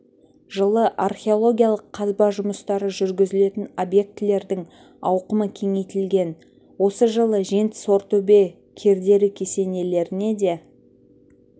жылы археологиялық қазба жұмыстары жүргізілетін объектілердің ауқымы кеңейтілген осы жылы жент сортөбе кердері кесенелеріне де